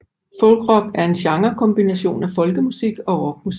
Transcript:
Folkrock er en genrekombination af folkemusik og rockmusik